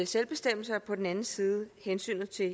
selvbestemmelse og på den anden side hensynet til at